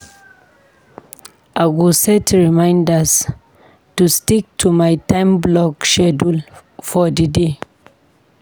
I go set reminders to stick to my time-block schedule for the day.